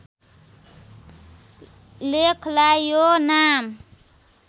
लेखलाई यो नाम